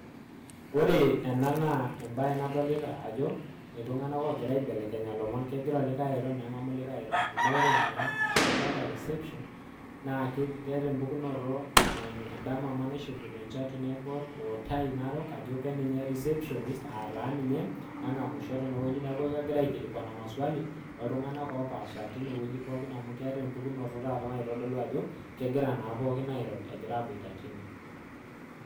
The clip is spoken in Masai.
ore ena naa embaye nadolita ajo enkingamunoto oolomon reception amuu ore enda napaashari naa ninye nagira angamu ilomon neutaki iwuejitin neepuo aatonie ashu aajing